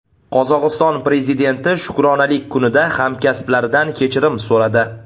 Qozog‘iston prezidenti Shukronalik kunida hamkasblaridan kechirim so‘radi .